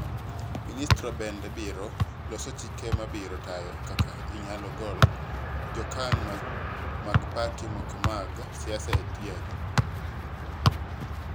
Ministrino bende biro loso chike ma biro tayo kaka inyalo gol jokanyo mag pati moko mag siasa e tijegi.